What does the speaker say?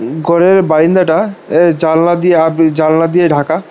গরের বারাইনদাটা এ জানলা দিয়ে জানলা দিয়ে ঢাকা।